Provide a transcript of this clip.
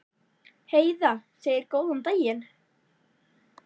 Heiða segir góðan daginn!